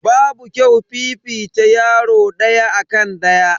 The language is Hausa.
Babu kyau fifita yaro daya akan daya.